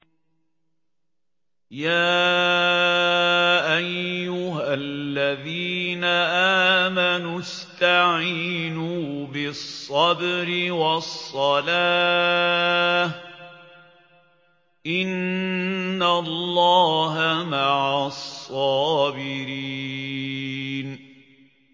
يَا أَيُّهَا الَّذِينَ آمَنُوا اسْتَعِينُوا بِالصَّبْرِ وَالصَّلَاةِ ۚ إِنَّ اللَّهَ مَعَ الصَّابِرِينَ